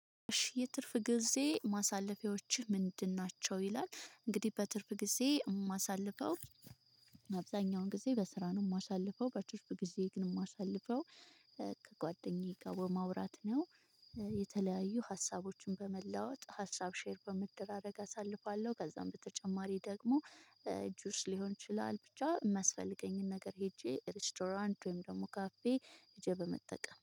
እሺ የትርፍ ጊዜ ማሳለፊያዎችህ ምንድናቸው? ይላል እንግዲህ በትርፍ ጊዜ ማሳለፊያው አብዛኛውን ጊዜ በስራ ነው ማሳልፈው በትርፍ በጊዜ ግን አሳልፈው ከጓደኛዬ ጋር በማውራት ነው የተለያዩ ሀሳቦችን በመለዋወጥ ሀሳብ ሼር በመደራደርግ አሳልፋለሁ ከዛም በተጨማሪ ደግሞ ጁስ ሊሆን ይችላል ብቻ የማስፈልገኝን ነገር ሄጄ ሬስቶራንት ወይም ደግሞ ካፌ ሄጄ በመጠቀም